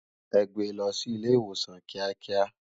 È gbé lò si ilé iwósán kiákiá